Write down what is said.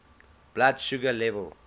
blood sugar level